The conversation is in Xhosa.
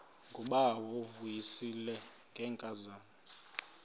ngubawo uvuyisile ngenkazana